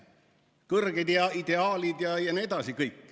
Kõrged ideaalid jne.